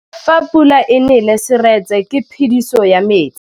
Fa pula e nelê serêtsê ke phêdisô ya metsi.